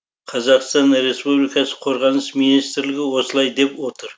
қр қорғаныс министрлігі осылай деп отыр